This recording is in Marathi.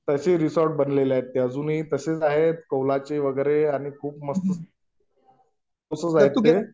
अजूनही तसेच आहेत कौलाचे वगैरे आणि खूप मस्त तसेच आहेत ते